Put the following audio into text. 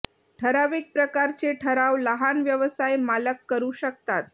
ठराविक प्रकारचे ठराव लहान व्यवसाय मालक करू शकतात